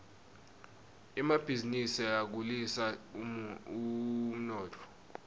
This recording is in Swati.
emabhizinisi akhulisa umnotfo